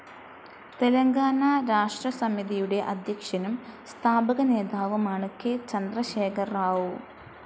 തെലങ്കാന രാഷ്ട്രസമിതിയുടെ അദ്ധ്യക്ഷനും സ്ഥാപക നേതാവുമാണ് കെ ചന്ദ്രശേഖർ റാവു.